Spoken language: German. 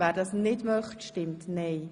wer dies nicht tun möchte, stimmt nein.